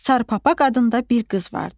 Sar papaq adında bir qız vardı.